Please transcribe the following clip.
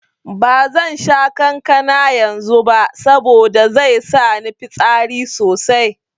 Bazan sha kankana yanzu ba saboda zai sa ni fitsari sosai.